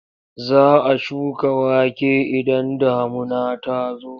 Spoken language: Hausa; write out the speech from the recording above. Za a shuka wake idan damuna ta zo.